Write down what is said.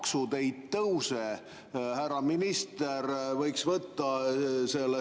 Kas on plaanis hilisemalt, on see siis 2027, teha mingi mõjuanalüüs, kuidas hasartmängumaksu protsentide tõus mõjub eelarvele?